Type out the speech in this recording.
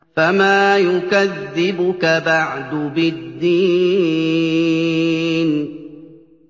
فَمَا يُكَذِّبُكَ بَعْدُ بِالدِّينِ